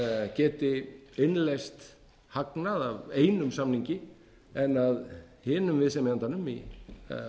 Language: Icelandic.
geti innleyst hagnað af einum samningi en af hinum viðsemjandanum í